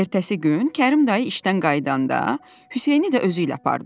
Ertəsi gün Kərim dayı işdən qayıdanda, Hüseyni də özü ilə apardı.